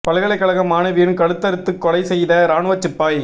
பல்கலைகழக மாணவியின் கழுத்தறுத்து கொலை செய்த இராணுவச் சிப்பாய்